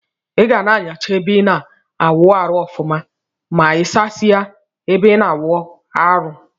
Iga na anyacha ebe ina awụ arụ ọfụma ma isasie ebe ina awụ amrụ.